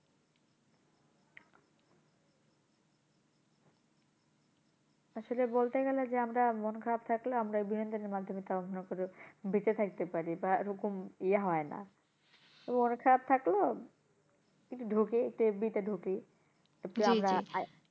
আসলে বলতে গেলে যে আমরা মন খারাপ থাকলে আমরা বিনোদনের মাধ্যমে তাও আমরা ধরো বেঁচে থাকতে পারি বা ওরকম ইয়ে হয়না। তো মন খারাপ থাকলো কিন্তু ঢুকি একটু FB তে ঢুকি